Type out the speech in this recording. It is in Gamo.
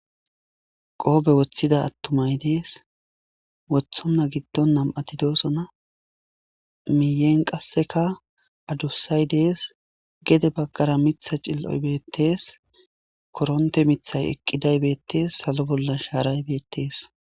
Qobbe ottida attumay de'ees. Wottona gidon nam''atti de'ossona. Miyen kasseka addussay de'ees.gedde baggara miita cil''oy betees.korontte miitay eqqiday betees.hazo bolla sharay betees